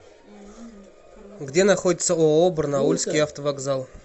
где находится ооо барнаульский автовокзал